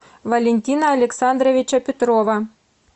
валентина александровича петрова